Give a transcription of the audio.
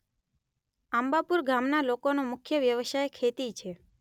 આંબાપુર ગામના લોકોનો મુખ્ય વ્યવસાય ખેતી છે.